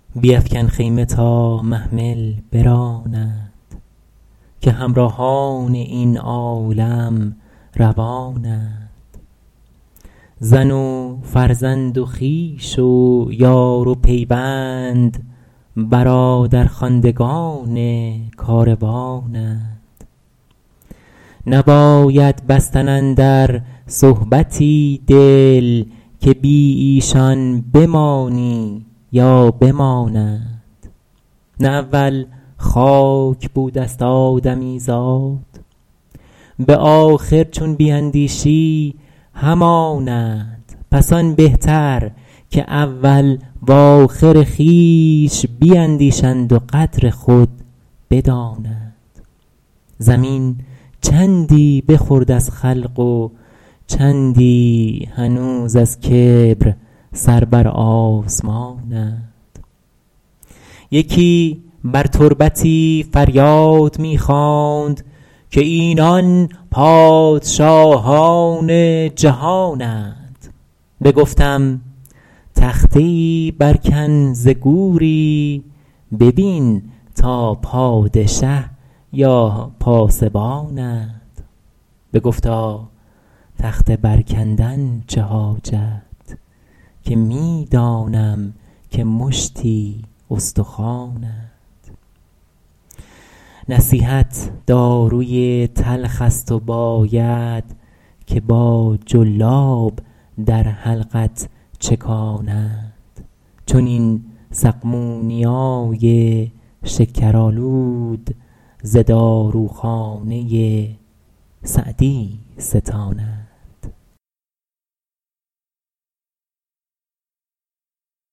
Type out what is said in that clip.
بیفکن خیمه تا محمل برانند که همراهان این عالم روانند زن و فرزند و خویش و یار و پیوند برادرخواندگان کاروانند نباید بستن اندر صحبتی دل که بی ایشان بمانی یا بمانند نه اول خاک بوده ست آدمیزاد به آخر چون بیندیشی همانند پس آن بهتر که اول وآخر خویش بیندیشند و قدر خود بدانند زمین چندی بخورد از خلق و چندی هنوز از کبر سر بر آسمانند یکی بر تربتی فریاد می خواند که اینان پادشاهان جهانند بگفتم تخته ای بر کن ز گوری ببین تا پادشه یا پاسبانند بگفتا تخته بر کندن چه حاجت که می دانم که مشتی استخوانند نصیحت داروی تلخ است و باید که با جلاب در حلقت چکانند چنین سقمونیای شکرآلود ز داروخانه سعدی ستانند